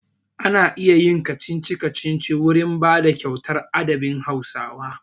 Ana iya yin kacici-kacici wurin bada kyauta a adabin Hausawa.